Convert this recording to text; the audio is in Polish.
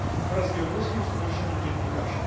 z OBWE oraz Białoruskim Stowarzyszeniem Dziennikarzy.